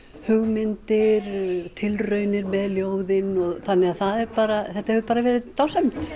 hugmyndir tilraunir með ljóðin þannig að það er bara þetta hefur bara verið dásamlegt